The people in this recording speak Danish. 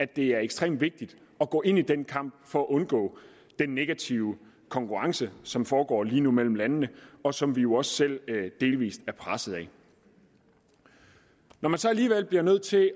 det er ekstremt vigtigt at gå ind i den kamp for at undgå den negative konkurrence som foregår lige nu mellem landene og som vi jo også selv delvis er presset af når man så alligevel bliver nødt til at